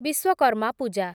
Vishwakarma Puja